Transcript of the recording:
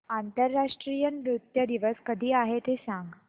आंतरराष्ट्रीय नृत्य दिवस कधी आहे ते सांग